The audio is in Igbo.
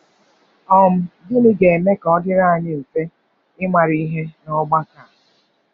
um Gịnị ga-eme ka ọ dịrị anyị mfe ịmara ihe n’ọgbakọ?